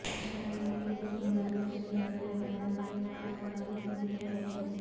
اسرائیلی بمباری سے بڑے پیمانے پر تباہی ہوئی ہے